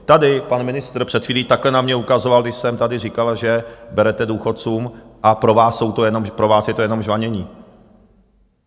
Tady pan ministr před chvílí takhle na mě ukazoval, když jsem tady říkal, že berete důchodcům, a pro vás je to jenom žvanění.